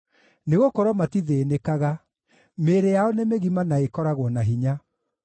Nĩgũkorwo matithĩĩnĩkaga; mĩĩrĩ yao nĩ mĩgima na ĩkoragwo na hinya.